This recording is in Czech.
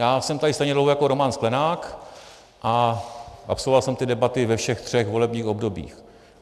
Já jsem tady stejně dlouho jako Roman Sklenák a absolvoval jsem ty debaty ve všech třech volebních obdobích.